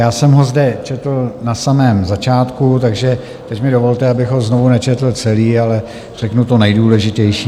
Já jsem ho zde četl na samém začátku, takže teď mi dovolte, abych ho znovu nečetl celý, ale řeknu to nejdůležitější.